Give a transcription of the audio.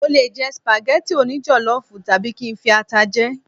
mo le jẹ spaghetti oni jollof tabi kin fi ata jẹ